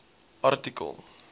artikel